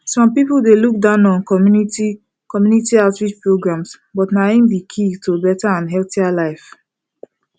some people dey look down on community community outreach programs but na im be key to better and healthier life